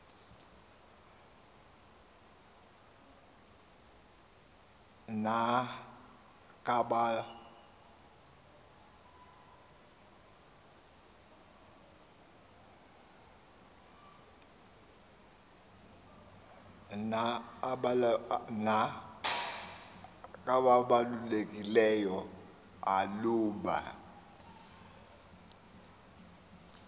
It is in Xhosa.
na kabalulekile uluba